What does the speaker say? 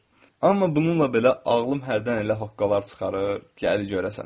Amma bununla belə ağlım hərdən elə haqqalar çıxarır ki, əli görəsən.